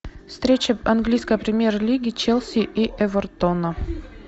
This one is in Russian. встреча английской премьер лиги челси и эвертона